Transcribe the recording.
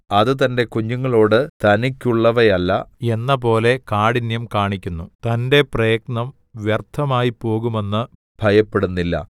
അത് തന്റെ കുഞ്ഞുങ്ങളോട് തനിക്കുള്ളവയല്ല എന്നപോലെ കാഠിന്യം കാണിക്കുന്നു തന്റെ പ്രയത്നം വ്യർത്ഥമായിപ്പോകുമെന്ന് ഭയപ്പെടുന്നില്ല